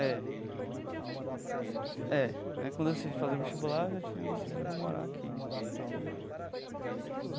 É, é. Né quando eu decidi fazer vestibular, eu já tinha decidido morar aqui.